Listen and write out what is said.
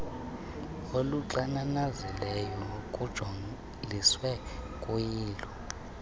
elixananazileyo kujoliswe kuyilo